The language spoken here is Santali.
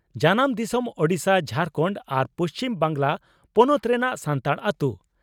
ᱡᱟᱱᱟᱢ ᱫᱤᱥᱚᱢ ᱺ ᱾ᱳᱰᱤᱥᱟ, ᱡᱷᱟᱨᱠᱟᱱᱰ ᱟᱨ ᱯᱩᱪᱷᱤᱢ ᱵᱟᱝᱜᱽᱞᱟ ᱯᱚᱱᱚᱛ ᱨᱮᱱᱟᱜ ᱥᱟᱱᱛᱟᱲ ᱟᱹᱛᱳ ᱾